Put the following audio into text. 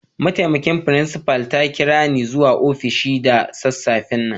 Ma'taimakin frincipa ta kira ni zuwa ofishin ta da safe'n nan.